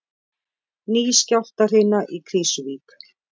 Ný skjálftahrina í Krýsuvík